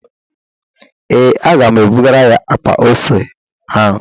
Ee, aga m ebugara ya akpa ose a